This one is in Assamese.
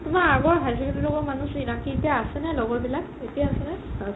তুমাৰ আগৰ higher secondary মানুহ চিনাকি এতিয়া আছে নে লগৰ বিলাক এতিয়া আছে নে?